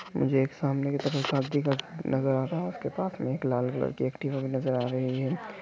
मुझे एक सामने की तरफ शादी का घर नजर आ रहा है उसके पास में एक लाल कलर की एक्टिवा भी नजर आ रही है।